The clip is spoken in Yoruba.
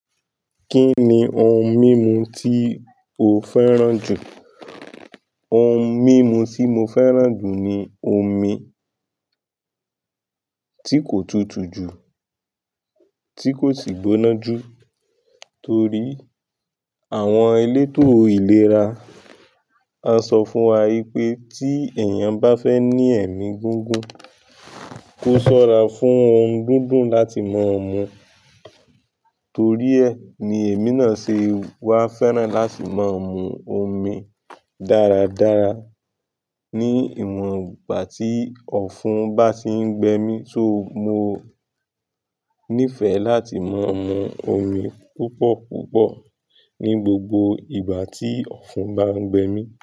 Kí ni ohun mímu tí o fẹ́ràn jù? Ohun mímu tí mo fẹ́ràn jù ni omi tí kò tutù jù, tí kò sì gbóná jù. Torí àwọn elétò ìlera wọ́n sọ fún wa pé tí èèyàn bá fẹ ní ẹ̀mí gígùn, kó ṣọ́ra fún ohun dúndùn láti máa mu. Torí ẹ ni èmi náà ṣe wá fẹ́ràn láti máa mu omi dáradára ní ìwọ̀n ìgbà tí ọ̀fun bá ti ń gbẹ mí. Só mo nífẹ̀ẹ́ láti máa mu omi púpọ̀púpọ̀ ní gbogbo ìgbà tí ọ̀fun bá ń gbẹ mí.